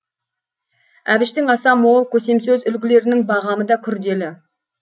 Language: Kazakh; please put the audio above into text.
әбіштің аса мол көсемсөз үлгілерінің бағамы да күрделі